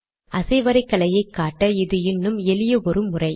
அசைவரைகலையை காட்ட இது இன்னும் எளிய ஒரு முறை